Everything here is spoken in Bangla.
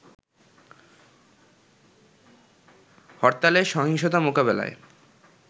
হরতালে সহিংসতা মোকাবেলায়